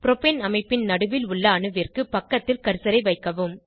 propane அமைப்பின் நடுவில் உள்ள அணுவிற்கு பக்கத்தில் கர்சரை வைக்கவும்